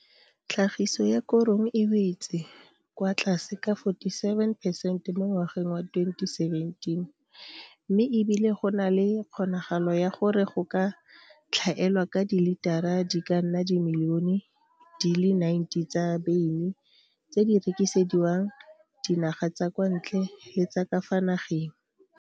Tlhagiso ya korong e wetse kwa tlase ka 47 percent mo ngwageng wa 2017 mme e bile go na le kgonagalo ya gore go ka tlhaelwa ka dilitara di ka nna dimilione di le 90 tsa beine tse di rekisediwang dinaga tsa kwa ntle le tsa ka fa nageng.